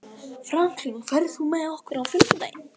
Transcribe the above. Franklin, ferð þú með okkur á fimmtudaginn?